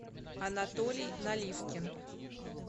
анатолий наливкин